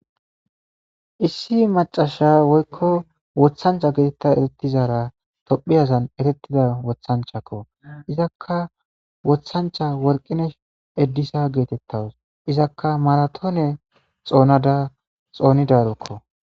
Issi macasha woyikko wothancha geetetta erettizara tophiyazan erettida wothanchakko izakka wothancha worqinesh eddisa geetettawus izakka maratoone xoonada xoonida rokko